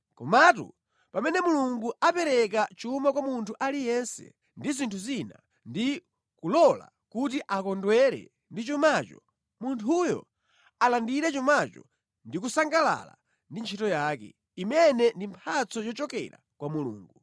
Komatu pamene Mulungu apereka chuma kwa munthu aliyense ndi zinthu zina, ndi kulola kuti akondwere ndi chumacho, munthuyo alandire chumacho ndi kusangalala ndi ntchito yake, imene ndi mphatso yochokera kwa Mulungu.